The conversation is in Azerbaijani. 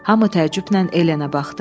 Hamı təəccüblə Elenə baxdı.